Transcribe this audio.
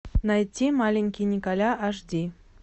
найти маленький николя аш ди